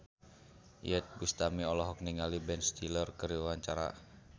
Iyeth Bustami olohok ningali Ben Stiller keur diwawancara